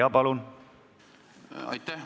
Jaa, palun!